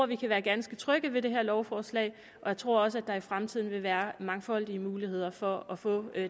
vi kan være ganske trygge ved det her lovforslag og jeg tror også der i fremtiden vil være mangfoldige muligheder for at få